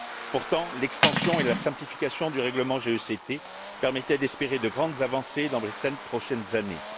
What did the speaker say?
Pourtant, l'extension et la simplification du règlement GECT permettait d'espérer de grandes avancées dans les cinq prochaines années.